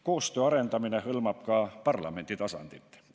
Koostöö arendamine hõlmab ka parlamendi tasandit.